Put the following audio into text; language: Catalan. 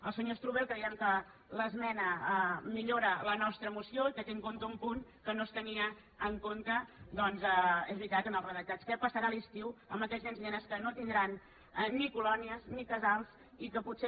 al senyor strubell creiem que l’esmena millora la nostra moció i que té en compte un punt que no es tenia en compte és veritat en els redactats què passarà a l’estiu amb aquests nens i nenes que no tindran ni colònies ni casals i que potser